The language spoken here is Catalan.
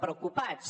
preocupats